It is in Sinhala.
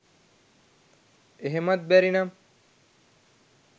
එහෙමත් බැරි නම්